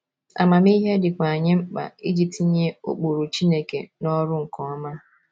Amamihe dịkwa anyị mkpa iji tinye ụkpụrụ Chineke n’ọrụ nke ọma.